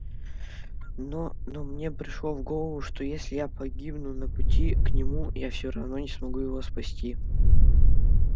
но но мне пришло в голову что если я погибну на пути к нему я все равно не смогу его спасти